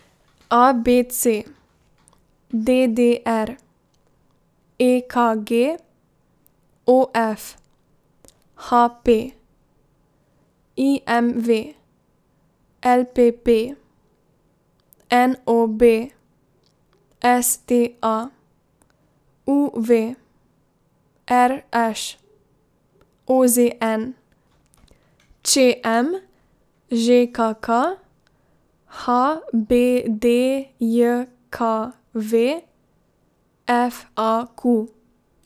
A B C; D D R; E K G; O F; H P; I M V; L P P; N O B; S T A; U V; R Š; O Z N; Č M; Ž K K; H B D J K V; F A Q.